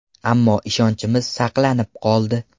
Ammo ishonchimiz saqlanib qoldi”.